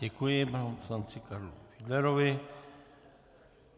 Děkuji panu poslanci Karlu Fiedlerovi.